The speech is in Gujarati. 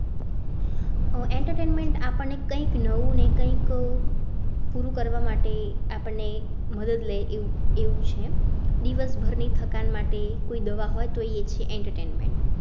Entertainment આપણે કઈક નવું ને કઈ પૂરું કરવા માટે આપણે મદદ લઈ એવું ~એવું છે. દિવસ બહારની થકાં માટે કોઈ દવા હોય તો એ છે entertainment